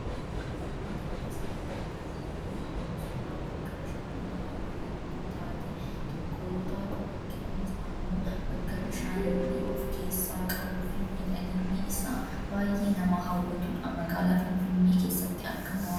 wanti nuti asirratti argaa jirru kun ammoo suuraa bakka bashannanaa bareedduu taate tokkoo yoo taatu, bakki kun ammoo bakka bishaanillee of keessaa qabuufi miidhaginni isaa baayyee nama hawwatudha. magaalaa Finfinnee keessatti argama.